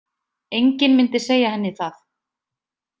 Enginn myndi segja henni það.